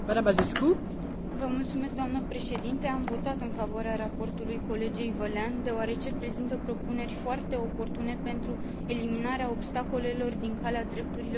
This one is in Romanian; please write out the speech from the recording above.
Am votat în favoarea raportului colegei Vălean deoarece prezintă propuneri foarte oportune pentru eliminarea obstacolelor din calea drepturilor cetățenilor europeni.